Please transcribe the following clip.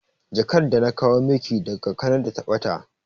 Jakar da na kawo maki daga Kanada ta ɓata